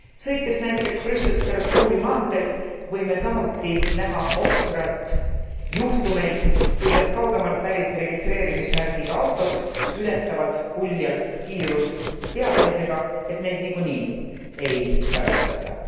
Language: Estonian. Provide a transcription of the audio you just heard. Sõites näiteks Brüssel Strasbourgi maanteel võime samuti näha ohtralt juhtumeid, kuidas kaugemalt pärit registreerimismärgiga autod ületavad uljalt kiirust teadmisega, et neid niikuinii ei karistata.